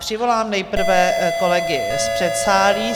Přivolám nejprve kolegy z předsálí.